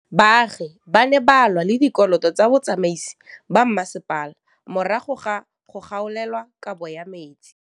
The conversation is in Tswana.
Baagi ba ne ba lwa le ditokolo tsa botsamaisi ba mmasepala morago ga go gaolelwa kabo metsi